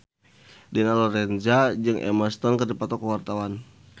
Dina Lorenza jeung Emma Stone keur dipoto ku wartawan